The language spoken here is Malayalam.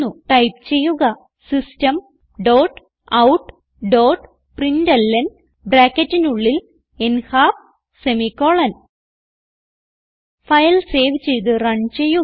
ടൈപ്പ് ചെയ്യുക systemoutപ്രിന്റ്ലൻ ഫയൽ സേവ് ചെയ്ത് റൺ ചെയ്യുക